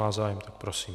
Má zájem, tak prosím.